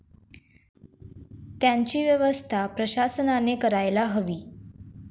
त्यांची व्यवस्था प्रशासनाने करायला हवी.